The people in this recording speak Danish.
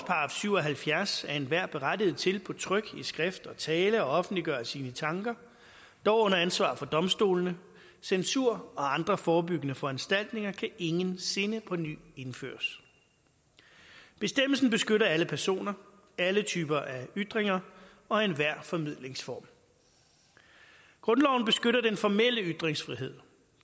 syv og halvfjerds er enhver berettiget til på tryk i skrift og tale at offentliggøre sine tanker dog under ansvar for domstolene censur og andre forebyggende foranstaltninger kan ingensinde på ny indføres bestemmelsen beskytter alle personer alle typer af ytringer og enhver formidlingsform grundloven beskytter den formelle ytringsfrihed